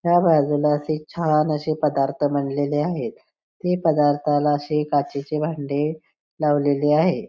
ह्या बाजूला असे छान असे पदार्थ मांडलेले आहेत ते पदार्थाला असे काचेचे भांडे लावलेले आहे.